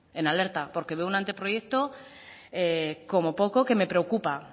en alerta porque veo un anteproyecto como poco que me preocupa